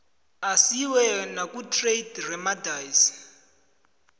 asiwe nakutrade remedies